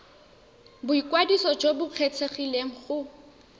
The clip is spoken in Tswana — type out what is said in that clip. boikwadiso jo bo kgethegileng go